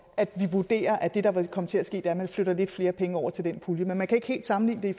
at vi vurderer at det der vil komme til at ske dermed flytter lidt flere penge over til den pulje men man kan ikke helt sammenligne det